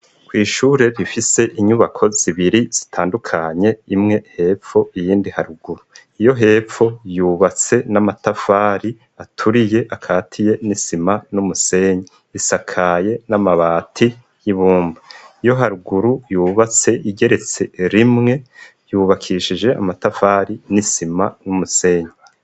Kw'ishure rifise inyubako zibiri zitandukanye imwe hepfo iyindi haruguru. Iyo hepfo yubatse n'amatafari aturiye akatiye n'isima n'umusenyi isakaye n'amabati y'ibumba. Iyo haruguru yubatse igeretse rimwe yubakishije amatafari n'isima n'umusenyi.